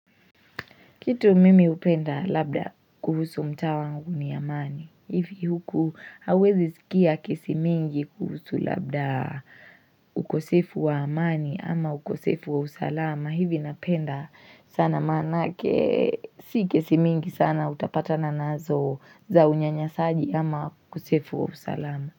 Kitu mimi hupenda labda kuhusu mtaa wangu ni amani. Ivi huku hawezi sikia kesi mingi kuhusu labda ukosefu wa amani ama ukosefu wa usalama, hivi napenda sana manake si kesi mingi sana utapatana nazo za unyanyasaaji ama ukosefu wa usalama.